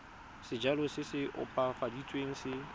sejalo se se opafaditsweng se